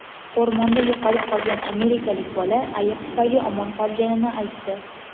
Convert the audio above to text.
O‘rmonda yo‘qolib qolgan amerikalik bola ayiq tufayli omon qolganini aytdi.